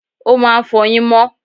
o máà ń fọyín mo